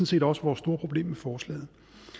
set også vores store problem med forslaget